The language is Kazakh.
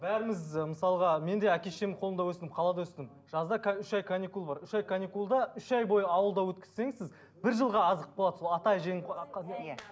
бәріміз ы мысалға мен де әке шешемнің қолында өстім қалада өстім жазда үш ай каникул бар үш ай каникулда үш ай бойы ауылда өткізсеңіз сіз бір жылға азық болады сол ата әженің